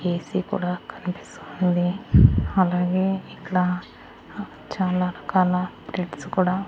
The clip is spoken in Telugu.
ఏ_సి కూడా కనిపిస్తుంది అలాగే ఇక్కడ ఆ చాలా రకాల గిఫ్ట్స్ కూడా.